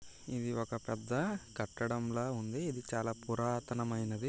ఇది ఒక పెద్ద కట్టడం లా ఉంది ఇది చాలా పురాతన మైనది.